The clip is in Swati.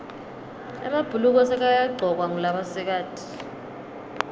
emabhuluko sekayagcokwa ngulabasikati